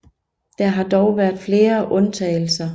Der har dog været flere undtagelser